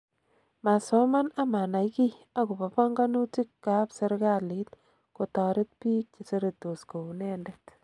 Masoman amanai kiy akobo pongonutik kap sirkalit kotoret bik cheseretos kounedet.